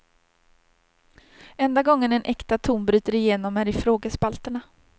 Enda gången en äkta ton bryter igenom är i frågespalterna.